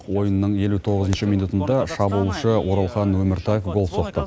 ойынның елу тоғызыншы минутында шабуылшы оралхан өміртаев гол соқты